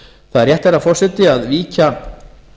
það er rétt herra forseta að víkja